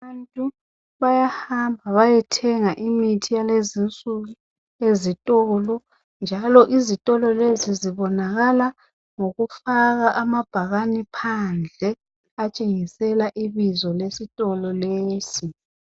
Abantu bayahamba bayethenga imithi yalezinsuku ezitolo njalo izitolo lezi zibonakala ngokufaka amabhakane phandle atshengisela ibizo lesitolo leso.